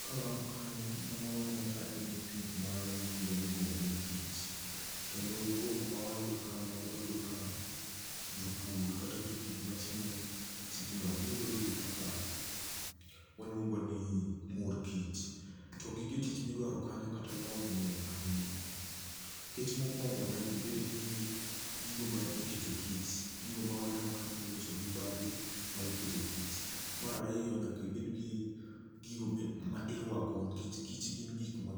kawarango kanyo mano waneno kaen pith mar gigo miluongo ni kich kendo dwoko mwayudo kanyo wayudo ka jopur kata jopith matimo tijno giyudo gigo kaka waluongo ni mor kich to gige tich midwaro kanyo kata lony ngeny ahinya nikech mokwongo nyakibed gi gigo mikete kich gigo mwaneno kanyo miloso gi bape mikete kich marariyo nyakibed gi gigo mirwako nikech kich gin gik ma